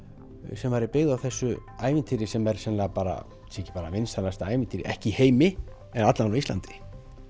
sem er byggð á þessu ævintýri sem er sennilega bara ætli sé ekki bara vinsælasta ævintýri ekki í heimi en alla vega á Íslandi